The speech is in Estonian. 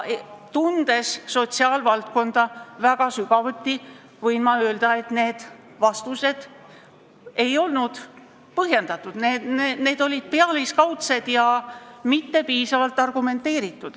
Tundes sotsiaalvaldkonda väga sügavuti, võin ma öelda, et need vastused ei olnud põhjendatud, need olid pealiskaudsed ja mitte piisavalt argumenteeritud.